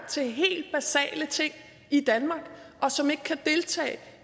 til helt basale ting i danmark som ikke kan deltage